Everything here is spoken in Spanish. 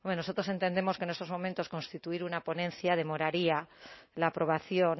bueno nosotros entendemos que en estos momentos constituir una ponencia demoraría la aprobación